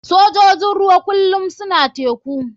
Sojojin ruwa kulum suna teku.